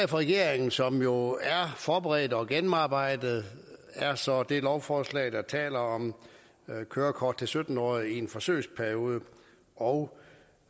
regeringen som jo er forberedt og gennemarbejdet er så det lovforslag der taler om kørekort til sytten årige i en forsøgsperiode og